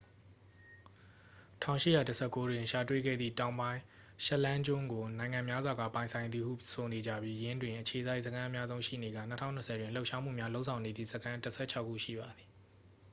1819 တွင် ရှာတွေ့ခဲ့သည့် တောင်ပိုင်း ရှက်လန်းကျွန်းကို နိုင်ငံများစွာက ပိုင်ဆိုင်သည်ဟု ဆိုနေကြပြီး ယင်းတွင် အခြေစိုက်စခန်းအများဆုံးရှိနေကာ 2020တွင် လှုပ်ရှားမှုများလုပ်ဆောင်နေသည့် စခန်း တစ်ဆယ့်ခြောက်ခု ရှိပါသည်